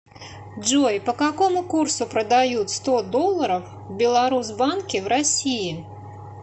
джой по какому курсу продают сто долларов в беларусбанке в россии